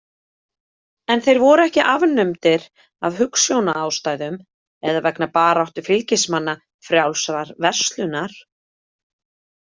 En þeir voru ekki afnumdir af hugsjónaástæðum, eða vegna baráttu fylgismanna „frjálsrar verslunar“.